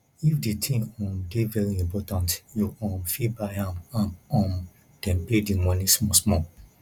if di thing um dey very important you um fit buy am am um then pay di moni small small